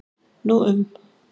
Nú um